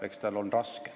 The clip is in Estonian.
Eks tal ole raske.